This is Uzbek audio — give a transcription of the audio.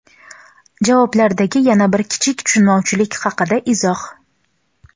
Javoblardagi yana bir kichik tushunmovchilik haqida izoh.